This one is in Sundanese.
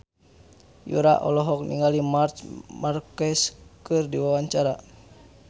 Yura olohok ningali Marc Marquez keur diwawancara